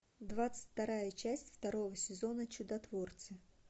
двадцать вторая часть второго сезона чудотворцы